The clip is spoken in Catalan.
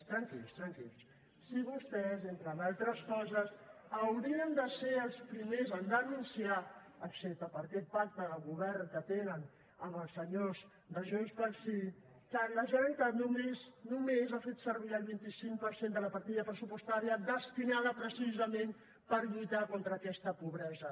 tranquils tranquils si vostès entre d’altres coses haurien de ser els primers a denunciar excepte per aquest pacte de govern que tenen amb els senyors de junts pel sí que la generalitat només només ha fet servir el vint cinc per cent de la partida pressupostària destinada precisament per lluitar contra aquesta pobresa